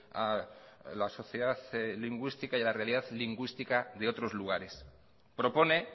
a la sociedad lingüística y a la realidad lingüística de otros lugares propone